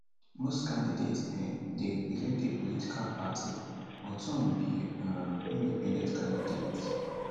most candidates um dey represent a political party but some be um independent candidates